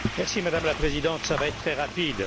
Madame la Présidente, ça va être très rapide.